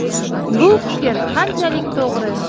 Bu fikr qanchalik to‘g‘ri?”.